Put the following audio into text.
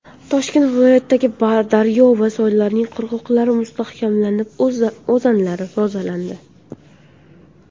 Toshkent viloyatidagi daryo va soylarning qirg‘oqlari mustahkamlanib, o‘zanlari tozalandi.